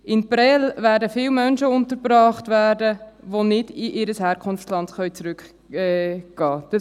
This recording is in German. In Prêles werden viele Menschen untergebracht werden, die nicht in ihr Herkunftsland zurückkehren können.